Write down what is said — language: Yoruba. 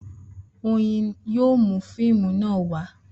Oyin yóò mú fíìmù náà wá